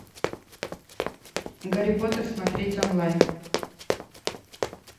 гарри поттер смотреть онлайн